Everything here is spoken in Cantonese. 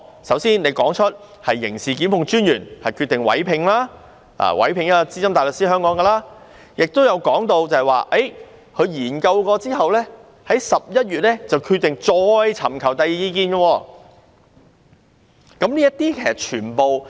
首先，刑事檢控專員說明決定委聘一名香港的資深大律師，也有說出他經研究後，在11月決定再尋求第二意見。